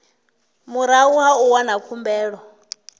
murahu ha u wana khumbelo